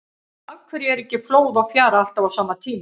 Af hverju er ekki flóð og fjara alltaf á sama tíma?